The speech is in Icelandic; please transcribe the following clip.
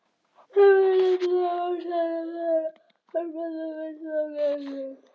Þeir voru nefnilega ófáir sem hann rétti hjálparhönd án þess að minnast á greiðslu.